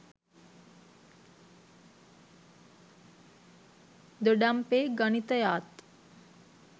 දොඩම්පේ ගණිතයාත්